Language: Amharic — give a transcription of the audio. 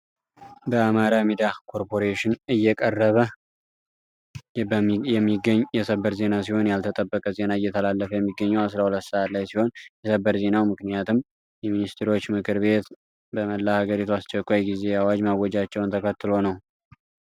በአማራ ሚድያ ኮርፖሬሽን እየቀረበ የሚገኝ የሰበር ዜና ሲሆን ያልተጠበቀ ዜና እየተተላለፈ የሚገኘው 12 ሰዓት ላይ ሲሆን የሰበር ዜናው ምክንያትም የሚኒስትሮች ምክር ቤት በመላ ሀገሪቱ የአስቸኳይ ጊዜ አዋጅ ማወጃቸውን ተከትሎ ነው።